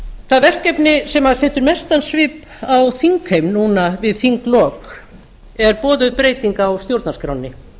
það verkefni sem setur mestan svip á þingheim núna við þinglok er boðuð breyting á stjórnarskránni